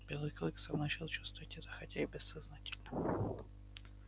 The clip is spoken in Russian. белый клык сам начал чувствовать это хотя и бессознательно